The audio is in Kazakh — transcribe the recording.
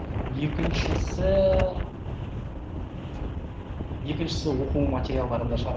екіншісі екіншісі оқу материалдарында шығар